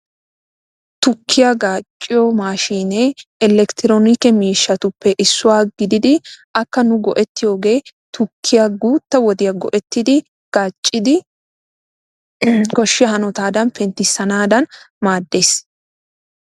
Tukkiya gaacciyo maashiinee elekitiroonikke maashinettuppe issuwa gididi akka nu go'ettiyooge tukkiya guutta woddiya go'ettidi gaaccidi koshiyaa hanotaadan penttisanaadan maadees.